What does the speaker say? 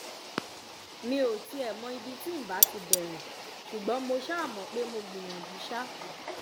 mi ò tiẹ̀ mọ ibi tí ǹ bá ti bẹ̀rẹ̀ ṣùgbọ́n mo ṣáà mọ̀ pé mo gbìyànjú ṣá